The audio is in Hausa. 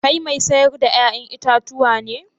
Kai mai sayar da 'ya'yan itatuwa ne?